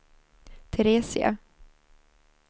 Teresia